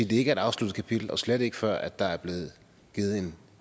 det ikke er et afsluttet kapitel og slet ikke før der er givet